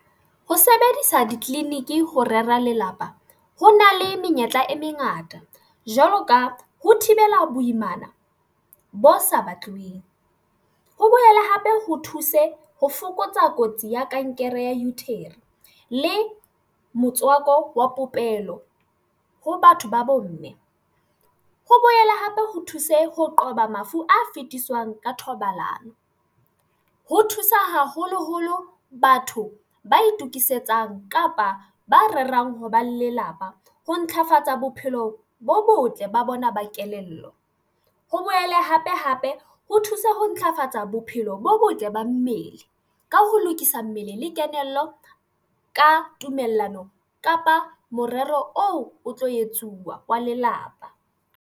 Ho sebedisa ditleliniki ho rera lelapa ho na le menyetla e mengata jwalo ka ho thibela boimana bo sa batluweng, ho behela hape ho thuse ho fokotsa kotsi ya kankere ya le motswako wa popelo ho batho ba bomme. Ho boela hape ho thuse ho qoba mafu a fetiswang ka thobalano ho thusa haholoholo batho ba itokisetsa eng kapa ba rerang ho ba lelapa. Ho ntlafatsa bophelo bo botle ba bona ba kelello, ho boele hape hape ho thusa ho ntlafatsa tsa bophelo bo botle ba mmele ka ho lokisa mmele le kelello, ka tumellano kapa morero o o tlo etsuwa wa lelapa.